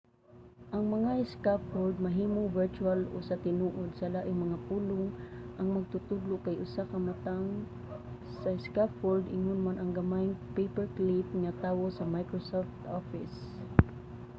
ang mga scaffold mahimong virtual o sa tinuod sa laing mga pulong ang magtutudlo kay usa ka matang sa scaffold ingon man ang gamayng paperclip nga tawo sa microsoft office